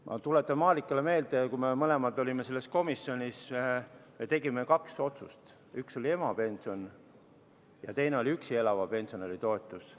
Ma tuletan Marikale meelde, et kui me mõlemad olime selles komisjonis, siis me tegime kaks otsust: üks oli emapension ja teine oli üksi elava pensionäri toetus.